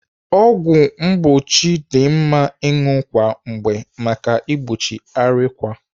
Ọgwụ mgbochi dị mma ịṅụ kwa mgbe maka igbochi arịkwa.